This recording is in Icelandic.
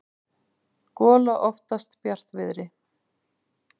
gola oftast bjartviðri.